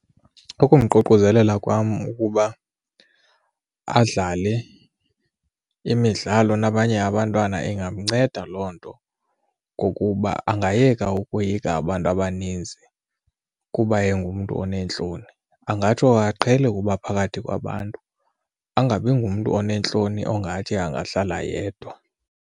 Ukumququzelela kwam ukuba adlale imidlalo nabanye abantwana, ingamnceda loo nto ngokuba angayeka ukoyika abantu abaninzi kuba engumntu oneentloni. Angatsho aqhele ukuba phakathi kwabantu angabi ngumntu oneentloni ongathi angahlala yedwa.